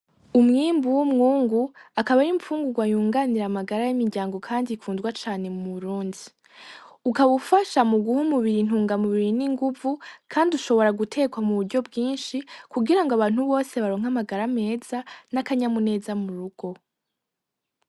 Umwimbu w'umwungu akaba ari imfungugwa yunganira amagara y'imiryango kandi ikundwa cane mu Burundi ukaba ufasha umubiri muguha intungamubiri n'inguvu kandi ushobora gutekwa mu buryo bginshi kugirango abantu bose baronke amagara meza nakanyamuneza murugo .